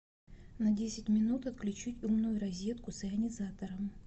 на десять минут отключить умную розетку с ионизатором